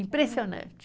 Impressionante.